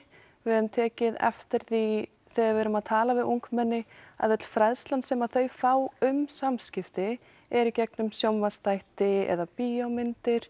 við höfum tekið eftir því þegar við erum að tala við ungmenni að öll fræðslan sem þau fá um samskipti eru í gegnum sjónvarpsþætti eða bíómyndir